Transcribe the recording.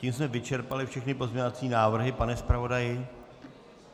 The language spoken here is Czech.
Tím jsme vyčerpali všechny pozměňovací návrhy, pane zpravodaji?